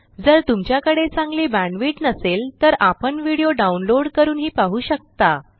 जर तुमच्याकडे चांगली बॅण्डविड्थ नसेल तर आपण व्हिडीओ डाउनलोड करूनही पाहू शकता